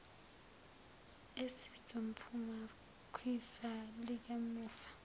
esizophuma kwifa likamufa